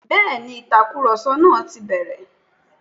Bẹ́ẹ̀ni, Ìtàkùrọ̀sọ náà ti bẹ̀rẹ̀